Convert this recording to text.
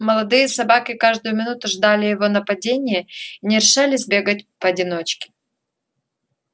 молодые собаки каждую минуту ждали его нападения и не решались бегать поодиночке